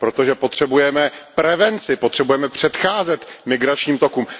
Protože potřebujeme prevenci, potřebujeme předcházet migračním tokům.